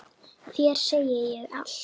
Þér segi ég allt.